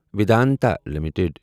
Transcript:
Vedanta limited